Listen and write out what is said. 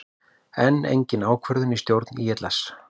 Enn engin ákvörðun í stjórn ÍLS